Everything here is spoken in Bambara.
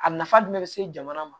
A nafa jumɛn be se jamana ma